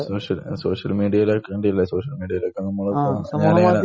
Social social മീഡിയയിലൊക്കെ കണ്ടില്ലേ? Social മീഡിയയിലൊക്കെ നമ്മൾ